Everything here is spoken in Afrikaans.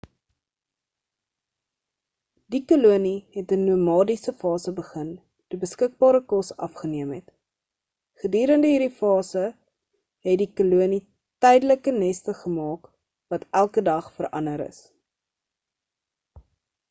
die kolonie het 'n nomadiese fase begin toe beskikbare kos afgeneem het gedurende hierdie fase het die kolonie tydelike neste gemaak wat elke dag verander is